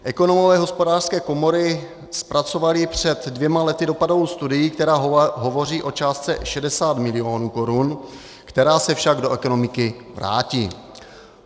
Ekonomové Hospodářské komory zpracovali před dvěma lety dopadovou studii, která hovoří o částce 60 milionů korun, která se však do ekonomiky vrátí.